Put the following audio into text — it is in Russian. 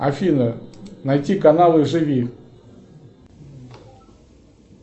афина найти каналы живи